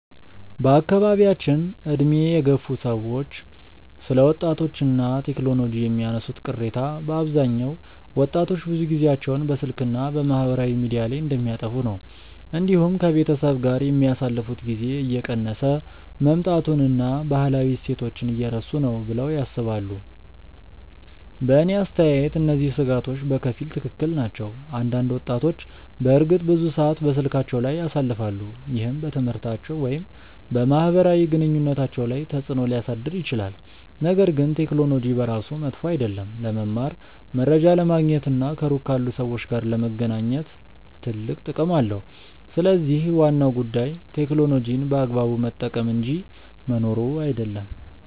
በአካባቢያችን ዕድሜ የገፉ ሰዎች ስለ ወጣቶች እና ቴክኖሎጂ የሚያነሱት ቅሬታ በአብዛኛው ወጣቶች ብዙ ጊዜያቸውን በስልክ እና በማህበራዊ ሚዲያ ላይ እንደሚያጠፉ ነው። እንዲሁም ከቤተሰብ ጋር የሚያሳልፉት ጊዜ እየቀነሰ መምጣቱን እና ባህላዊ እሴቶችን እየረሱ ነው ብለው ያስባሉ። በእኔ አስተያየት እነዚህ ስጋቶች በከፊል ትክክል ናቸው። አንዳንድ ወጣቶች በእርግጥ ብዙ ሰዓት በስልካቸው ላይ ያሳልፋሉ፣ ይህም በትምህርታቸው ወይም በማህበራዊ ግንኙነታቸው ላይ ተጽእኖ ሊያሳድር ይችላል። ነገር ግን ቴክኖሎጂ በራሱ መጥፎ አይደለም። ለመማር፣ መረጃ ለማግኘት እና ከሩቅ ካሉ ሰዎች ጋር ለመገናኘት ትልቅ ጥቅም አለው። ስለዚህ ዋናው ጉዳይ ቴክኖሎጂን በአግባቡ መጠቀም እንጂ መኖሩ አይደለም።